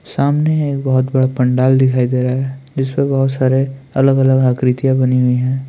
सामने एक बहोत बड़ा पंडाल दिखाई दे रहा है जिसमें बहोत सारे अलग-अलग आकृतियां बनी हुई है।